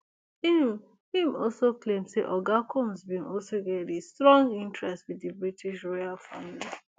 im im also claim say oga combs bin also get a strong interest wit di british royal family